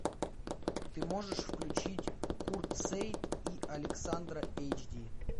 ты можешь включить курт сеит и александра эйч ди